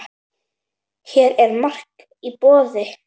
Hér er margt í boði.